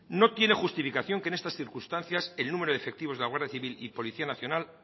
no tiene justificación que en estas circunstancias el número de efectivos de la guardia civil y policía nacional